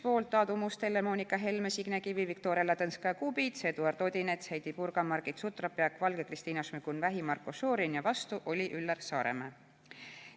Poolt olid Aadu Must, Helle-Moonika Helme, Signe Kivi, Viktoria Ladõnskaja-Kubits, Eduard Odinets, Heidy Purga, Margit Sutrop, Jaak Valge, Kristina Šmigun-Vähi ja Marko Šorin ning vastu oli Üllar Saaremäe.